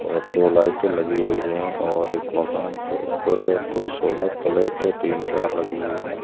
और दो लाइटे लगी हुई है और एक मकान के ऊपर दो सोलर प्लेटे तीन चार लगी हुई है।